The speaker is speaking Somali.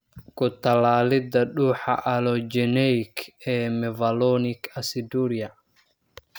Ku-tallaalidda dhuuxa Allogeneic ee mevalonic aciduria.